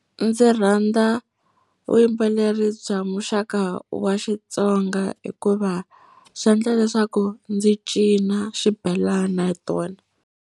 Ndzi rhandza vuyimbeleri bya muxaka wa Xitsonga hikuva swi endla leswaku ndzi cina xibelana hi tona.